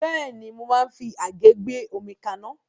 Bẹ́ẹ̀ni, mo máa ń fi àgé gbé omi kaná.